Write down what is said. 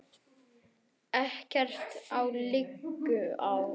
Ekkert liggur á